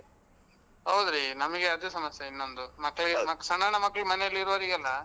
ಹೌದ್ರೀ, ನಮ್ಗೆ ಅದು ಸಮಸ್ಯೆ ಇನ್ನೊಂದು. ಸಣ್ಣ್ ಸಣ್ಣ ಮಕ್ಳ್ ಮನೇಲಿರೋರ್ಗೆಲ್ಲ.